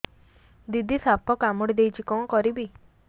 ଦିଦି ସାପ କାମୁଡି ଦେଇଛି କଣ କରିବି